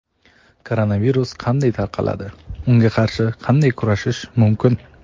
Koronavirus qanday tarqaladi - unga qarshi qanday kurashish mumkin?.